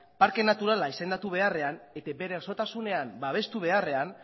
parke naturala izendatu beharrean eta bere osotasunean babestu beharrean